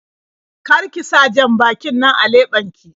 Kar ki sa jan-bakin nan a leɓen ki.